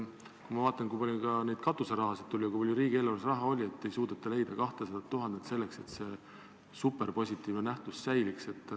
Kui mõelda, kui palju meil katuseraha on olnud ja kui palju riigieelarves raha on, aga ikka ei suudeta leida 200 000 eurot selleks, et see superpositiivne asutus säiliks.